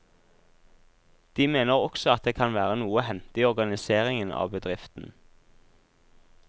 De mener også at det kan være noe å hente i organiseringen av bedriften.